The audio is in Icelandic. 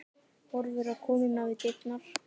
Horfir á konuna við dyrnar.